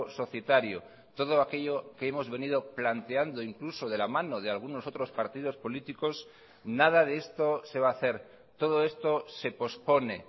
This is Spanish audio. societario todo aquello que hemos venido planteando incluso de la mano de algunos otros partidos políticos nada de esto se va a hacer todo esto se pospone